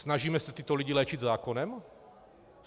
Snažíme se tyto lidi léčit zákonem?